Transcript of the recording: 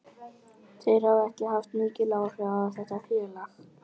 Þeir hafa haft mikil áhrif á þetta félag.